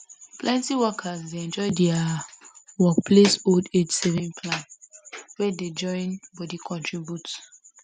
plenty workers dey enjoy their work place old age saving plan wey dey join body contribute